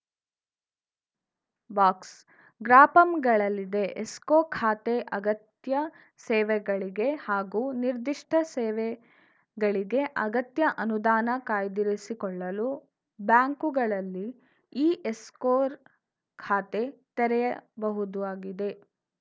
ಬಾಕ್ಸ್‌ಗ್ರಾಪಂಗಳಲ್ಲಿದೆ escrow ಖಾತೆ ಅಗತ್ಯ ಸೇವೆಗಳಿಗೆ ಹಾಗೂ ನಿರ್ಧಿಷ್ಟಸೇವೆಗಳಿಗೆ ಅಗತ್ಯ ಅನುದಾನ ಕಾಯ್ದಿರಿಸಿಕೊಳ್ಳಲು ಬ್ಯಾಂಕುಗಳಲ್ಲಿ ಈ ಎಸ್ಕೊರ್ ಖಾತೆ ತೆರೆಯಬಹುದು ಆಗಿದೆ